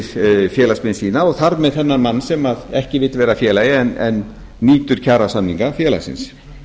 fyrir félagsmenn sína og þar með þennan mann sem ekki vill vera félagi en nýtur kjarasamninga félagsins